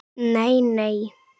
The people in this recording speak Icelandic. Nei, nei